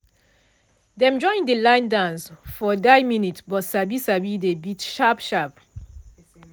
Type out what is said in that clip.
dem join de line dance for die minute but sabi sabi de beat sharp sharp.